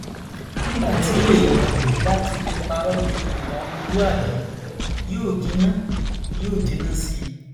nígbà tí èèyàn bá ti lè parọ ju ìwà ọmọlúàbí yóò jinná yóò jinná sí i